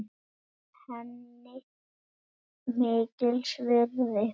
Það er henni mikils virði.